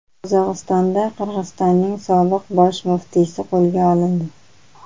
Qozog‘istonda Qirg‘izistonning sobiq bosh muftiysi qo‘lga olindi.